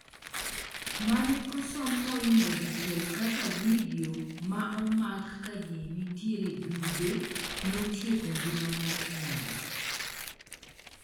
mane osom moingo dichiel kaka vidio ma omak kaji nitiere duge notieko ngima mar nyare